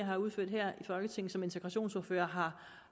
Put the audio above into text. har udført her i folketinget som integrationsordfører har